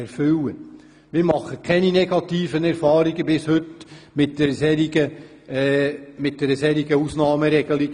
Wir machen bis heute keine negativen Erfahrungen mit einer solchen Ausnahmeregelung.